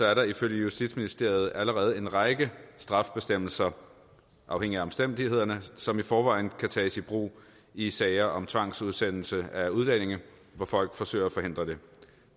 er der ifølge justitsministeriet allerede en række straffebestemmelser afhængigt af omstændighederne som i forvejen kan tages i brug i sager om tvangsudsendelse af udlændinge hvor folk forsøger at forhindre det